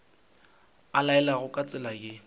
o laela ka tsela ye